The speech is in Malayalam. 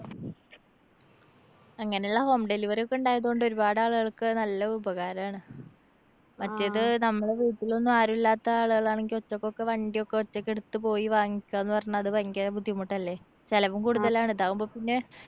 അങ്ങനെ ഉള്ള home delivery ഒക്കെ ഉണ്ടായതോണ്ട് ഒരുപാടാളുകള്‍ക്ക് നല്ല ഉപകാരാണ്. മറ്റേത് നമ്മള് വീട്ടിലൊന്നും ആരുല്ലാത്ത ആളുകളാണെങ്കില്‍ ഒറ്റക്കൊക്കെ വണ്ടിയൊക്കെ ഒറ്റക്കെടുത്ത് പോയി വാങ്ങിക്കാന്ന് പറഞ്ഞാ അത് ഭയങ്കര ബുദ്ധിമുട്ടല്ലേ? ചെലവും കൂടുതലാണ്. ഇതാവുമ്പോ പിന്നെ